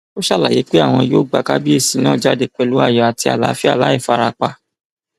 ó ṣèlérí pé àwọn yóò gba kábíyèsí náà jáde pẹlú ayọ àti àlàáfíà láì fara pa